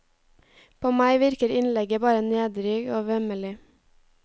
På meg virker innlegget bare nedrig og vemmelig.